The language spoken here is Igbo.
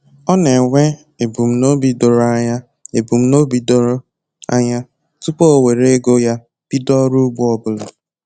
Ọ na-enwe ebumnobi doro anya ebumnobi doro anya tupu o were ego ya bido ọrụ ugbo ọbụla